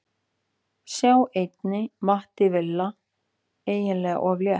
Sjá einnig: Matti Villa: Eiginlega of létt